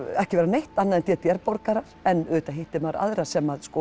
ekki vera neitt annað en d d r borgarar en auðvitað hitti maður aðra sem